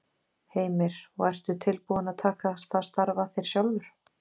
Heimir: Og ertu tilbúinn að taka það starf að þér sjálfur?